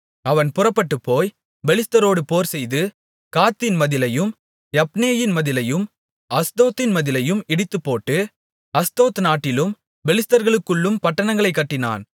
அவன் புறப்பட்டுப்போய் பெலிஸ்தரோடு போர்செய்து காத்தின் மதிலையும் யப்னேயின் மதிலையும் அஸ்தோத்தின் மதிலையும் இடித்துப்போட்டு அஸ்தோத் நாட்டிலும் பெலிஸ்தருக்குள்ளும் பட்டணங்களைக் கட்டினான்